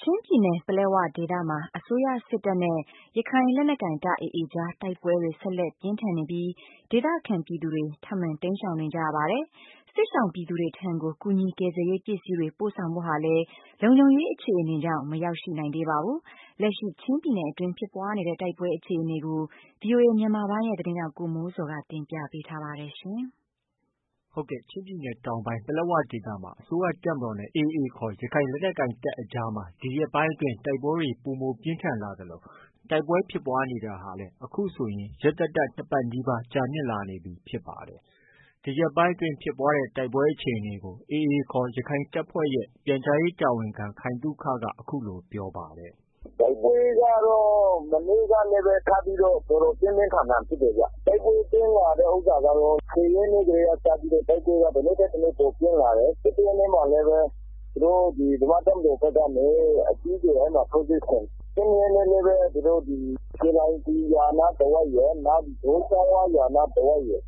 ချင်းပြည်နယ် ပလက်ဝဒေသမှာ အစိုးရတပ်မတော်နဲ့ AAခေါ် ရခိုင်လက်နက်ကိုင်တပ်အကြားတိုက်ပွဲတွေဟာ ဆက်လက် ပြင်းထန်နေပြီး ဒေသခံပြည်သူတွေ ထပ်မံတိမ်းရှောင်နေပါတယ်။ စစ်ရှောင်ပြည်သူတွေထံကို ကူညီကယ်ဆယ်ရေးပစ္စည်းတွေ ပို့ဆောင်ဖို့ဟာလည်း လုံခြုံရေးအခြေအနေကြောင့် မရောက်ရှိနိုင်သေးပါဘူး။ လက်ရှိ ချင်းပြည်နယ်အတွင်းက ဖြစ်ပွားတဲ့တိုက်ပွဲ အခြေအနေကို ဗွီအိုအေမြန်မာပိုင်းရဲ့ သတင်းထောက် ကိုမိုးဇော်က တင်ပြထားပါတယ်။ ချင်းပြည်နယ်တောင်ပိုင်း ပလက်ဝဒေသမှာ အစိုးရတပ်မတော်နဲ့ AA ခေါ် ရခိုင်လက်နက်ကိုင်တပ်အကြားမှာ ဒီရက်ပိုင်းအတွင်း တိုက်ပွဲတွေ ပိုမိုပြင်းထန်လာသလို တိုက်ပွဲဖြစ်ပွားတာတွေဟာလည်း ရက်သတ္တ ၂ပတ်နီးပါးကြာမြင့်လာနေပြီ ဖြစ်ပါတယ်။ ဒီရက်ပိုင်းအတွင်းဖြစ်ပွားတဲ့ တိုက်ပွဲအခြေအနေကို AA ခေါ် ရခိုင်တပ်ဖွဲ့ရဲ့ ပြန်ကြားရေးတာဝန်ခံ ခိုင်သုခက အခုလို ပြောပါတယ်။ “ တိုက်ပွဲကတော့ မနေ့ကလည်း ထပ်ပြီးတော့ တော်တော်ပြင်းပြင်းထန်ထန်ဖြစ်တယ်ဗျ။ တိုက်ပွဲပြင်းထန်တာကတော့ လွန်ခဲ့တဲ့ ၁၀ရက်နေ့ကတည်းက တရက်ထက် တရက်ပိုပြင်းထန်လာတယ်။ ၁၁ရက်နေ့မှာလည်းပဲ ဗမာ့တပ်မတော်ဖက်ကနေ အကြီးအကျယ်ထိုးစစ်ဆင်တယ်။ ၁၂ရက်နေ့မှာလည်းပဲ ဒီ ရွှီလိုင်ပွီရွာနားတဝိုက်ရယ်၊ ဒိုးချောင်းဝရွာနားတဝိုက်ရယ်၊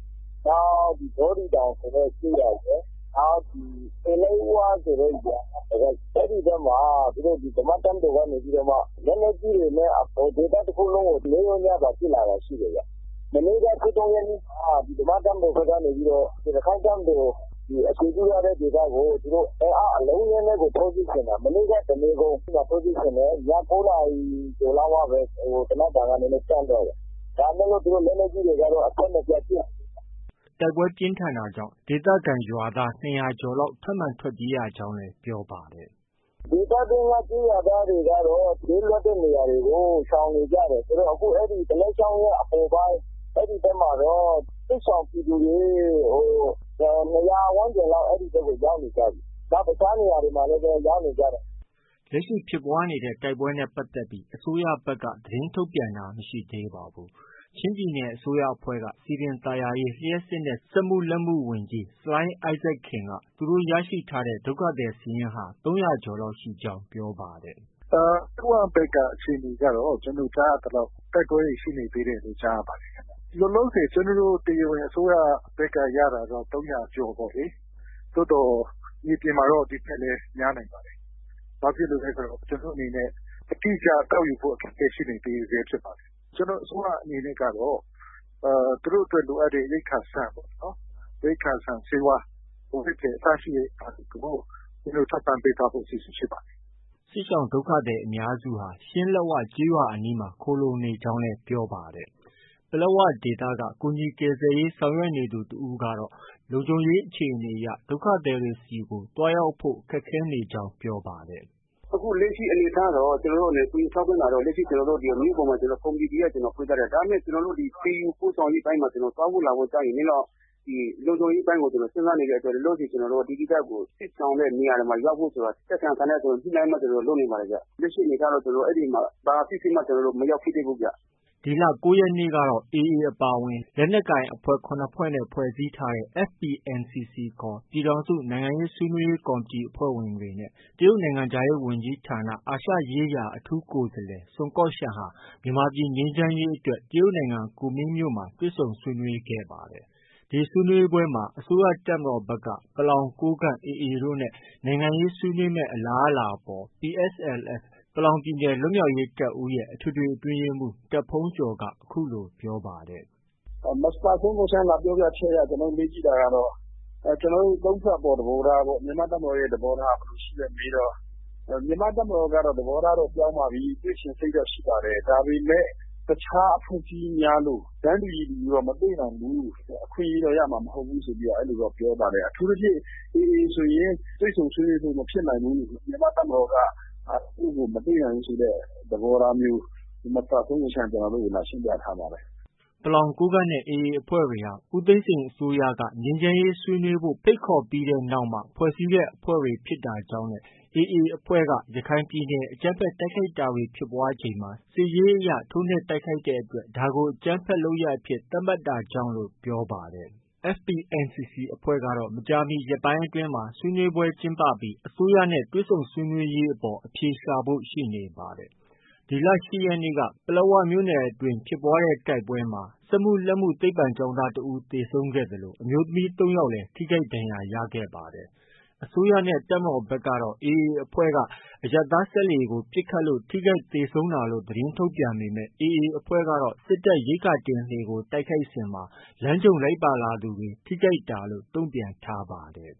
နောက် ဗောဒိတောင်ဆိုတဲ့ကျေးရွာရယ်၊ နောက် ပွီးလိုင်ဝဆိုတဲ့ရွာနားတဝိုက်ရယ် ဗမာ့တပ်မတော်ကနေ လက်နက်ကြီးတွေနဲ့ ဒေသတခုလုံးကို နေ့ရောညပါ ပစ်လာတာရှိတယ်။ မနေ့က ၁၃ရက်နေ့မှာ ဗမာ့တပ်မတော်ဖက်ကနေ ရခိုင်တပ်မတော် အခြေပြုထားတဲ့ဒေသကို အင်အားအလုံးအရင်းနဲ့ကို ထိုးစစ်ဆင်တာ။ မနေ့က တနေကုန် ထိုးစစ်ဆင်တယ်။ ည ၉နာရီကျော်လောက်မှပဲ သေနတ်သံကနည်းနည်းတန့်သွားတယ်။ ဒါပေမယ့် လက်နက်ကြီးတွေကတော့ အဆက်မပြတ်ပစ်နေတယ်။” တိုက်ပွဲပြင်းထန်တာကြောင့် ဒေသခံ ၂၀၀ကျော်လောက် ထပ်မံထွက်ပြေးနေ ရကြောင်းလည်း ပြောပါတယ်။ “ ဒေသတွင်းက ကျေးရွာသားတွေကတော့ ဘေးလွတ်တဲ့နေရာတွေကို ရှောင်နေကြတယ်။ သူတို့ အဲဒီ ကလက်ချောင်း၀ အပေါ်ပိုင်း အဲဒီဖက်မှာတော့ စစ်ရှောင်ပြည်သူတွေ ၂၀၀ ဝန်းကျင်လောက် အဲဒီဖက်ကို ရောက်နေကြပြီ။ နောက် တခြားနေရာတွေမှာလည်း ရောက်နေကြတယ်။ ” လက်ရှိဖြစ်ပွားနေတဲ့ တိုက်ပွဲတွေနဲ့ပတ်သက်ပြီး အစိုးရဖက်က သတင်းထုတ်ပြန်တာ မရှိပါဘူး။ ချင်းပြည်နယ် အစိုးရအဖွဲ့က စည်ပင်သာယာရေး၊ လျှပ်စစ်နဲ့ စက်မှုလက်မှုဝန်ကြီး ဆလိုင်း အိုက်ဇက်ခင်က သူတို့ ရရှိထားတဲ့ ဒုက္ခသည်စာရင်းဟာ ၃၀၀ကျော်ရှိကြောင်း ပြောပါတယ်။ “ ပလက်ဝဖက်က အခြေအနေကတော့ တိုက်ပွဲတွေ ရှိနေသေးတယ်လို့ ကြားရပါတယ်။ လောလောဆည် အစိုးရဖက်က တရားဝင်ရတာတော့ ၃၀၀ကျော်ပေါ့လေ။ မြေပြင်မှာတော့ ဒီထက်လည်း များနိုင်ပါတယ်။ ဘာလို့လည်း ဆိုတော့ ကျနော်တို့ အနေနဲ့ အတိအကျကောက်ယူဖို့ အခက်အခဲရှိနေဆဲဖြစ်ပါတယ်။ ကျနော်တို့ အစိုးရ အနေနဲ့ကတော့ သူတို့အတွက် လိုအပ်တဲ့ ရိက္ခာဆန်၊ ဆေးဝါး၊ အဝတ်အထည် အစရှိတဲ့ဟာတွေကို ထောက်ပံ့ပေးသွားဖို့ အစီအစဉ်ရှိပါတယ်။” စစ်ရှောင် ဒုက္ခသည်အများစုဟာ ရှင်းလက်ဝရွာအနီးမှာ ခိုလှုံနေကြောင်းလည်း ပြောပါတယ်။ ပလက်ဝဒေသက ကူညီကယ်ဆယ်ရေးဆောင်ရွက်နေသူတဦးကတော့ လုံခြုံရေးအရ ဒုက္ခသည်တွေဆီ သွားရောက်ဖို့ ခက်ခဲနေကြောင်း ပြောပါတယ်။ “ အခုလက်ရှိအနေအထားတော့ ကူညီထောက်ပံ့တာ မြို့ပေါ်မှာ ကော်မတီဖွဲ့ထားတယ်။ ဒါပေမဲ့ ကျနော်တို့ ဒီ သယ်ယူပို့ဆောင်ရေးအပိုင်းမှာ သွားဖို့ လာဖို့ ကျ နည်းနည်းတော့ လုံခြုံရေးအပိုင်းကို စဉ်းစားနေတဲ့အတွက် လောလောဆည် ဒီဒေသကို စစ်ရှောင်တဲ့ နေရာတွေမှာ ရောက်ဖို့ ဆိုတာ သက်ဆိုင်ရာဌာနတွေနဲ့ ညှိနှိုင်းပြီး လုပ်နေပါတယ်ခင်ဗျ။ လောလောဆည်မှာ အဲဒီမှာ ဘာပစ္စည်းမှ ကျနော်တို့ မရောက်ဖြစ်သေးဘူးဗျ။” ဒီလ ၉ရက်နေ့ကတော့ AA အပါအဝင် လက်နက်ကိုင်အဖွဲ့ ၇ဖွဲ့နဲ့ ဖွဲ့စည်းထားတဲ့ FPNCC ခေါ် ပြည်ထောင်စု နိုင်ငံရေးဆွေးနွေးရေးကော်မတီအဖွဲ့ဝင်တွေနဲ့ တရုတ်နိုင်ငံခြားရေးဝန်ကြီးဌာန အာရှရေးရာ အထူးကိုယ်စားလှယ် ဆွန်ကော့ရှန်ဟာ မြန်မာပြည်ငြိမ်းချမ်းရေးအတွက်တရုတ်နိုင်ငံကူမင်းမြို့မှာ တွေ့ဆုံဆွေးနွေးခဲ့ပါတယ်။ ဒီဆွေးနွေးပွဲမှာ အစိုးရတပ်မတော်ဖက်က ပလောင်၊ ကိုးကန့်၊ AA တို့နဲ့ နိုင်ငံရေးဆွေးနွေးမယ့် အလားအလာအပေါ် PSLF ပလောင်ပြည်နယ် လွတ်မြောက်ရေးတပ်ဦးရဲ့ အထွေထွေအတွင်းရေးမှူး တာ့ဘုန်းကျော်က ပြောပါတယ်။ “မစ္စတာ ဆွန်ကော်ရှန်း လာပြောပြချက်အရ ကျနော်တို့ မေးကြည့်တာကတော့ ကျနော်တို့ ၃ဖွဲ့အပေါ် သဘောထားပေါ့။ မြန်မာ့တပ်မတော်သဘောထား ဘယ်လို ရှိလဲ မေးတော့။ မြန်မာ့တပ်မတော်က သဘောထားတော့ ပြောင်းပါပြီ၊ တွေ့ချင်စိတ်တော့ရှိပါတယ်။ ဒါပေမဲ့ တခြားအဖွဲ့အစည်းများလို တန်းတူရည်တူတော့ မတွေ့နိုင်ဘူး။ အခွင့်အရေးတော့ရမှာ မဟုတ်ဘူးလို့ ပြောပါတယ်။ အထူးသဖြင့် AA ဆိုရင် တွေ့ဆုံဆွေးနွေးဖို့ မဖြစ်နိုင်ဘူး။ မြန်မာ့တပ်မတော်က သူ့ကို မတွေ့နိုင်ဘူးဆိုတဲ့သဘောထားမျိုး မစ္စတာဆွန်ကော်ရှန်းက ကျနော်တို့ကို လာရှင်းပြထားပါတယ်။ ” ပလောင်၊ ကိုးကန့်နဲ့ AA အဖွဲ့တွေဟာ ဦးသိန်းစိန်အစိုးရက ငြိမ်းချမ်းရေးဆွေးနွေးဖို့ ဖိတ်ခေါ်ပြီးနောက်မှ ဖွဲ့စည်းတဲ့အဖွဲ့တွေဖြစ်တာကြောင့်နဲ့ AA အဖွဲ့က ရခိုင်ပြည်နယ် အကြမ်းဖက် တိုက်ခိုက်တာတွေဖြစ်ပွားချိန်မှာ စစ်ရေးအရ ထိုးနှက်တဲ့အတွက် ဒါကို အကြမ်းဖက်လုပ်ရပ်အဖြစ် သတ်မှတ်တာကြောင့်လို့ ပြောပါတယ်။ FPNCC အဖွဲ့ကတော့ မကြာမီရက်ပိုင်းအတွင်းမှာ ဆွေးနွေးပွဲကျင်းပပြီး အစိုးရနဲ့ တွေ့ဆုံရေးအပေါ် အဖြေရှာဖို့ ရှိနေပါတယ်။ ဒီလ ၈ရက်နေ့ ပလက်ဝမြို့နယ် အတွင်း တိုက်ခိုက်မှုမှာ စက်မှုလက်မှု သိပ္ပံကျောင်းသား တဦးသေဆုံးခဲ့ရသလို အမျိုးသမီး ၃ယောက်လည်း ထိခိုက်ဒဏ်ရာရခဲ့ပါတယ်။ အစိုးရနဲ့ တပ်မတော်ဖက်ကတော့ AA အဖွဲ့က အရပ်သားစက်လှေကို ပစ်ခတ်လို့ ထိခိုက်သေဆုံးတာလို့ သတင်းထုတ်ပြန်ပေမဲ့ AA အဖွဲ့က စစ်တပ်ရိက္ခာတင်လှေကို တိုက်ခိုက်စဉ် လမ်းကြုံလိုက်လာသူတွေ ထိခိုက်တာလို့ တုံ့ပြန်ထားပါတယ်